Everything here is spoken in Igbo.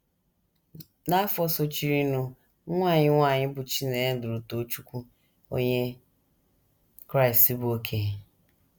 N’afọ sochirinụ, nwa anyị nwanyị, bụ́ Chinenye, lụrụ Tochukwu, Onye Kraịst bụ́ okenye.